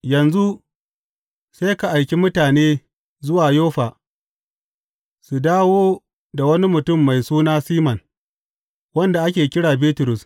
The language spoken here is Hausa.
Yanzu sai ka aiki mutane zuwa Yoffa su dawo da wani mutum mai suna Siman wanda ake kira Bitrus.